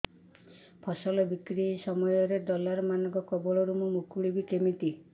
ଫସଲ ବିକ୍ରୀ ସମୟରେ ଦଲାଲ୍ ମାନଙ୍କ କବଳରୁ ମୁଁ ମୁକୁଳିଵି କେମିତି